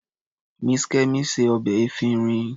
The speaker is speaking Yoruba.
Mrs. Kemi se ọbẹ̀ efinrin.